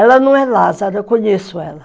Ela não é Lázara, eu conheço ela.